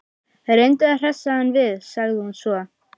Reyndu að hressa hann við- sagði hún svo.